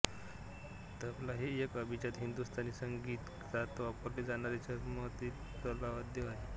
तबला हे एक अभिजात हिन्दुस्तानी संगीतात वापरले जाणारे चर्माच्छादित तालवाद्य आहे